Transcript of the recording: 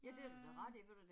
Øh